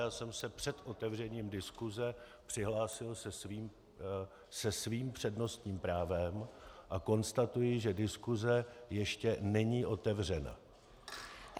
Já jsem se před otevřením diskuse přihlásil se svým přednostním právem a konstatuji, že diskuse ještě není otevřena.